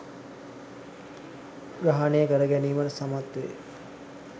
ග්‍රහණය කර ගැනීමට සමත්වේ.